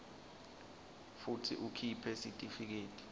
futsi ukhiphe sitifiketi